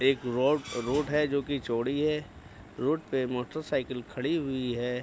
एक road road है जो की चौड़ी है रोड पे मोटरसाइकिल खड़ी हुई है।